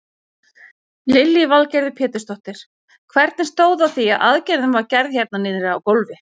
Lillý Valgerður Pétursdóttir: Hvernig stóð á því að aðgerðin var gerð hérna niðri á gólfi?